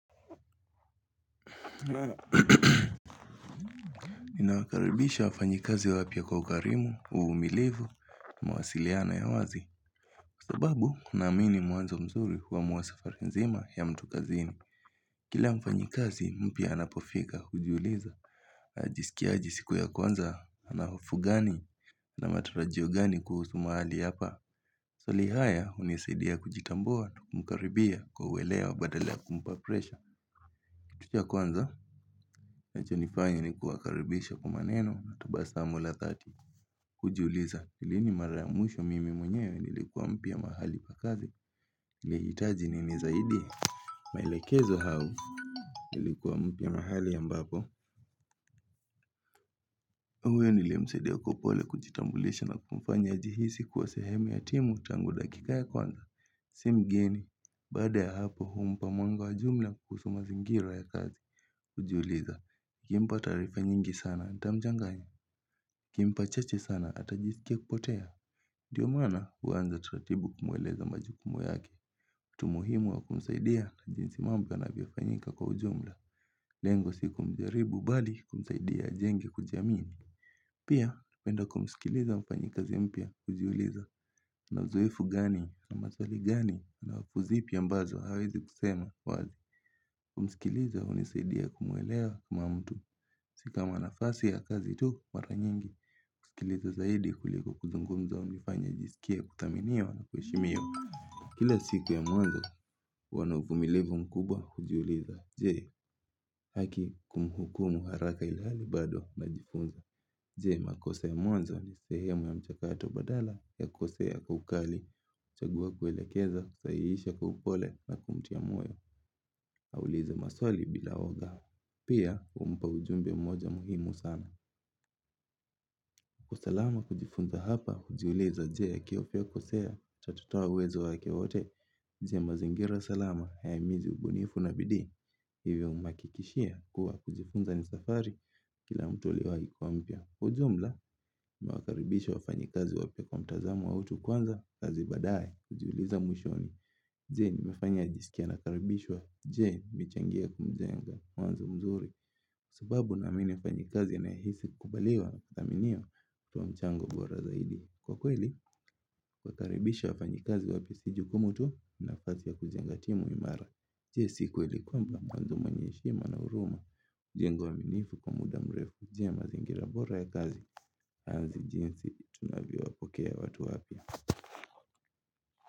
Ninawakaribisha wafanyikazi wapya kwa ukarimu, uvumilivu, mawasiliano ya wazi sababu, naamini mwanzo mzuri huwa sifa mzima ya mtu kazini Kila mfanyikazi, mpya anapofika, hujiuliza, ajisikiaje siku ya kwanza, anahofu gani, na matarajio gani kuhusu mahali hapa Swali haya, unisaidia kujitambua, kumkaribia, kwa uwelewa, badala ya kumpa presha tukiwa kwanza ninachonifanya ni kuwakaribisha kwa maneno na tabasamula dhati kujiuliza ni lini mara ya mwisho mimi mwenyewe ilikuwa mpia mahali kwa kazi nilihitaji nini zaidi maelekezo au ilikuwa mpya mahali ambapo huyo nileyemsadia kwa upole kujitambulisha na kumfanya ajihisi kuwa sehemu ya timu tangu dakika ya kwanza Si mgeni baada ya hapo humpa mwango wa jumla kuhusu mazingira ya kazi kujiuliza kimpa taarifa nyingi sana, tamjenga. Kimpa chache sana, atajisikia kupotea. Ndio maana, huanza taratibu ukimweleza majukumu yake. Mtu muhimu wa kumsaidia ni jinsi mambo yanavyofanyika kwa ujumla. Lengo siku kumjaribu, mbali kumsaidi ajenge kujamini. Pia, napenda kumsikiliza mfanyikazi mpya, kujiuliza. Na uzoefu gani, na maswali gani, na wakuzipi ambazo, hawezi kusema. Wazi, kumsikiliza hunisaidia kumwelewa ma mtu. Si kama nafasi ya kazi tu, mara nyingi, husikiliza zaidi kuliko kuzungumza hunifanya nijisikia kuthaminiwa na kushimiwa. Kila siku ya mwanzo, huwa na uvumilivu mkubwa kujiuliza. Je, haki kumuhukumu haraka ilhali bado najifunza. Je, makosa ya mwanzo, ni sehemu ya mchakato badala ya kukosea kwa ukali. Chagua kuelekeza, kusahihisha kwa upole na kumtia moyo. Ka ulize maswali bila woga. Pia, humpa ujumbe mmoja muhimu sana. Kwa usalama kujifunza hapa, jiulize je kiofya kusohea, tutatoa uwezo wake wote, je mazingira salama, yahimize ubunifu na bidii, hivyo mhakikishia kuwa kujifunza ni safari kila mtu aliwai kuwa mpya. Kwa ujumla tunawakaribisha wafanyikazi wapya kwa mtazamo wa utu kwanza kazi baadaye kajiuliza mwishoni. Je nimefanya ajisikie anakaribishwa. Je michengea kumjenga mawazo mzuri. Sababu naamini mfanyikazi anayehisi kubaliwa na kuthaminiwa kama mchango bora zaidi. Kwa kweli, wakaribishe wafanyikazi wapya si jukumu tu na kazi ya kujenga timu imara. Je si kweli kwamba mawanzo mwenye heshima na huruma. Jenga uaminifu kwa muda mrefu.je mazingira bora ya kazi, kazi jinsi, tunavyowapokea watu wapya.